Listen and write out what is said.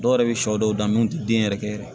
Dɔw yɛrɛ bɛ shɔ dɔw dan mun tɛ den yɛrɛ kɛ